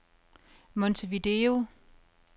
Montevideo